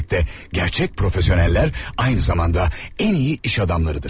Hər məsləkdə gerçək peşəkarlar eyni zamanda ən yaxşı iş adamlarıdır.